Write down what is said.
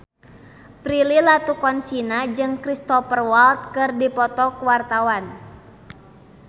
Prilly Latuconsina jeung Cristhoper Waltz keur dipoto ku wartawan